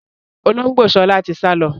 Olóngbó sọlá tí sálọ